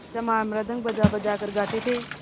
चमार मृदंग बजाबजा कर गाते थे